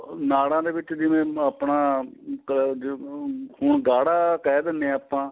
ਨਾੜਾ ਦੇ ਵਿੱਚ ਜਿਵੇਂ ਅਹ ਖੂਨ ਗਦਾ ਕਿਹ ਦਿਨੇ ਆ ਆਪਾਂ